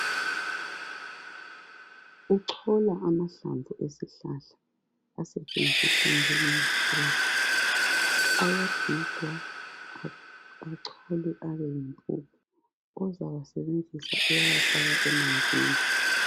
Uchola amahlamvu esihlahla asetshenziswa njengempepho. ayagigwa acholwe abeyimpuphu ozawasebenzisa uyawafaka emanzini.